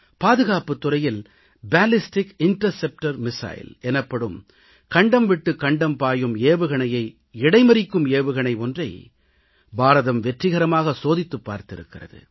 பாதுகாப்புத் துறையில் கண்டம் விட்டு கண்டம் பாயும் ஏவுகணையை இடைமறிக்கும் ஏவுகணை ஒன்றை பாரதம் வெற்றிகரமாக சோதித்துப் பார்த்திருக்கிறது